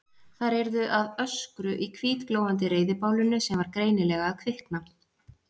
Þær yrðu að ösku í hvítglóandi reiðibálinu sem var greinilega að kvikna.